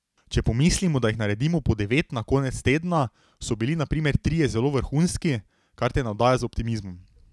Če pomislimo, da jih naredimo po devet na konec tedna, so bili na primer trije zelo vrhunski, kar te navdaja z optimizmom.